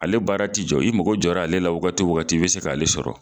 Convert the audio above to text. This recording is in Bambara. Ale baara tɛ jɔ, i mɔgɔ jɔ la ale la waati wagati , ibɛ se k'ale sɔrɔ.